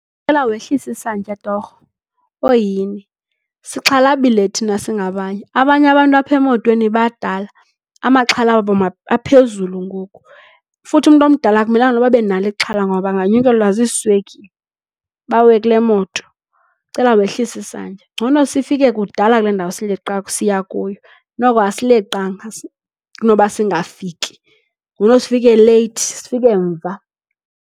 Ndicela wehlise isantya torho, oh yhini. Sixhalabile thina singabanye. Abanye abantu apha emotweni badala. Amaxhala wabo aphezulu ngoku futhi umntu omdala akumelanga noba abe nalo ixhala ngoba anganyukelwa ziiswekile bawe kule moto. Ndicela wehlise isantya. Ngcono sifike kudala kule ndawo sileqa siya kuyo. Noko asileqanga kunoba singafiki. Ngcono sifike leyithi sifike mva.